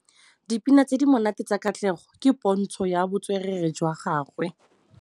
Dipina tse di monate tsa Katlego ke pôntshô ya botswerere jwa gagwe.